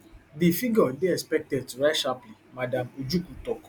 di figure dey expected to rise sharply madam ojukwu tok